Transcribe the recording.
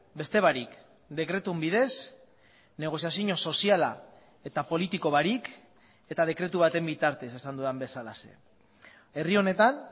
beste barik dekretuen bidez negoziazio soziala eta politiko barik eta dekretu baten bitartez esan dudan bezalaxe herri honetan